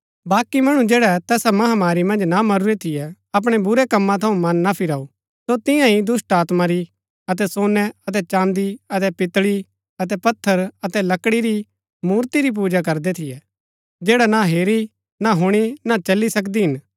बाकी मणु जैड़ै तैसा महामारी मन्ज ना मरूरै थियै अपणै बुरै कम्मा थऊँ मन ना फिराऊ सो तिन्या ही दुष्‍टात्मा री अतै सोनै अतै चाँदी अतै पितळी अतै पत्थर अतै लकड़ी री मूर्ति री पूजा करदै थियै जैड़ी ना हेरी ना हुणी ना चली सकदी हिन